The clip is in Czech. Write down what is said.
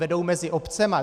Vedou mezi obcemi.